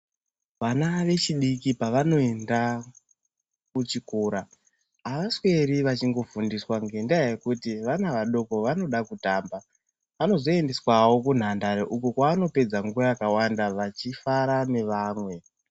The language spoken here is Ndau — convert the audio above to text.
Vana vechidiki pavanoenda kuchikora. Avasweri vachingofundiswa ngendaa yekuti vana vadoko vanoda kutamba. Vanozoendeswavo kunhandare uko kwavanopedza nguva yakawanda vachifara nevamwe.